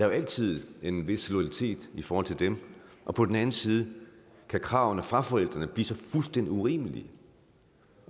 jo altid en vis loyalitet i forhold til dem og på den anden side kan kravene fra forældrene blive så fuldstændig urimelige